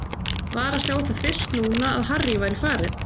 Var að sjá það fyrst núna að Harry væri farinn.